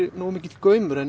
nógu mikill gaumur en